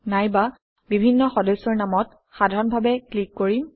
নাইবা বিভিন্ন সদস্যৰ নামত সাধাৰণভাৱে ক্লিক কৰিম